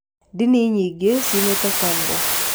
ndini nyingĩ ciumĩte Congo